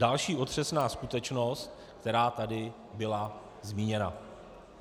Další otřesná skutečnost, která tady byla zmíněna.